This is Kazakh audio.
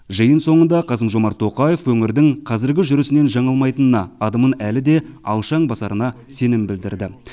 жиын соңында қасым жомарт тоқаев өңірдің қазіргі жүрісінен жаңылмайтынына адымын әлі де алшаң басарына сенім білдірді